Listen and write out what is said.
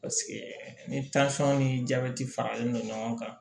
Paseke ni ni jabɛti faralen no ɲɔgɔn kan